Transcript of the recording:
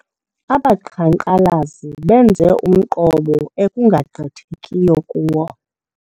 Abaqhankqalazi benze umqobo ekungagqithekiyo kuwo.